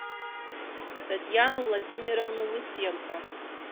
татьяну владимировну лысенко